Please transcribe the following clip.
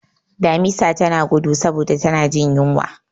Damisa tana gudu saboda tana jin yunwa.